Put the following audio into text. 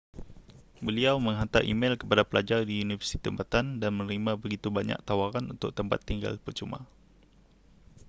beliau menghantar e-mel kepada pelajar di universiti tempatan dan menerima begitu banyak tawaran untuk tempat tinggal percuma